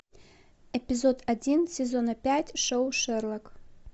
эпизод один сезона пять шоу шерлок